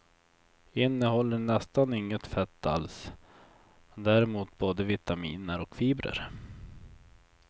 Innehåller nästan inget fett alls, men däremot både vitaminer och fibrer.